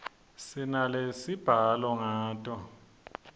sinalesibhala ngato